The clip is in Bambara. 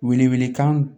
Wele wele kan